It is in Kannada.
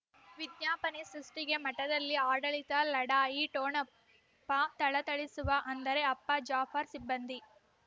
ವಿಜ್ಞಾಪನೆ ಸೃಷ್ಟಿಗೆ ಮಠದಲ್ಲಿ ಆಡಳಿತ ಲಢಾಯಿ ಠೊಣಪ ಥಳಥಳಿಸುವ ಅಂದರೆ ಅಪ್ಪ ಜಾಫರ್ ಸಿಬಂಧಿ